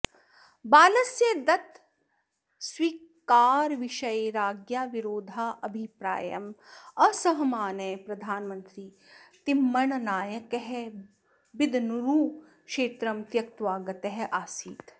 बालस्य दत्तकस्वीकारविषये राज्ञ्याः विरोधाभिप्रायम् असहमानः प्रधानमन्त्री तिम्मण्णनायकः बिदनूरुक्षेत्रं त्यकत्वा गतः आसीत्